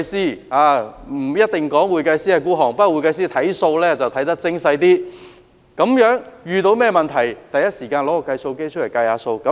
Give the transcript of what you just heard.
會計師不一定吝嗇金錢，但會計師計算帳目會較精細，遇上問題第一時間取出計算機來計數。